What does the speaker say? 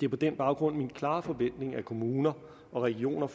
det er på den baggrund min klare forventning at kommuner og regioner